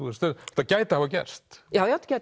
þetta gæti hafa gerst já já